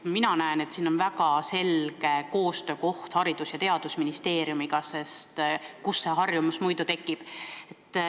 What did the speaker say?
Mina näen siin väga selgelt kohta koostööks Haridus- ja Teadusministeeriumiga – kust see harjumus muidu tekib.